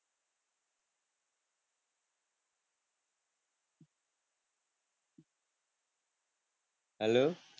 હાલો